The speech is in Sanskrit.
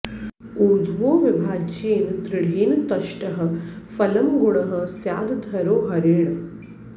ऊर्ध्वो विभाज्येन दृढेन तष्टः फलं गुणः स्यादधरो हरेण